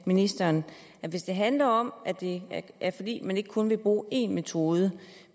ministeren at hvis det handler om at det er fordi man ikke kun vil bruge en metode